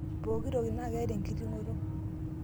pooki toki naa keeta enkiting'oto